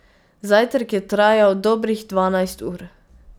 Zajtrk je trajal dobrih dvanajst ur.